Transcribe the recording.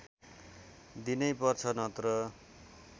दिनैपर्छ नत्र